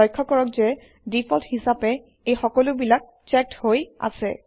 লক্ষ্য কৰক যে ডিফল্ট হিচাপে এই সকলোবিলাক চেক্ড হৈ আছে